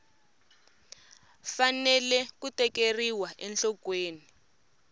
fanele ku tekeriwa enhlokweni loko